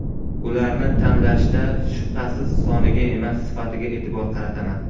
Ularni tanlashda shubhasiz soniga emas, sifatiga e’tibor qarataman.